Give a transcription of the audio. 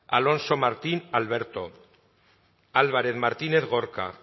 alonso martín alberto álvarez martínez gorka